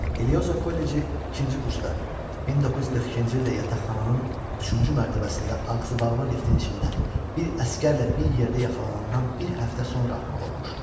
Eliozo kolleci ikinci kursda, 1942-ci ildə yataqxananın üçüncü mərtəbəsində ağzıbağlı liftin içində bir əsgərlə bir yerdə yaxalanandan bir həftə sonra atmalı olmuşdu.